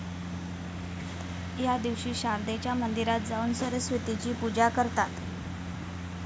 या दिवशी शारदेच्या मंदिरात जाऊन सरस्वतीची पूजा करतात